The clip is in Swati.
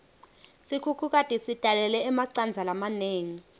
sikhukhukati sitalele emacandza lamanengi